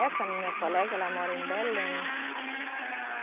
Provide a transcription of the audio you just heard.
Essa minha colega, ela mora em Belém.